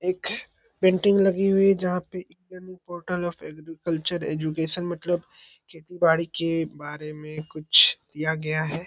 एक पेंटिंग लगी हुई है जहाँ पे e -learning portal on agriculture education मतलब खेती -बाड़ी की बारे में कुछ दिया गया है ।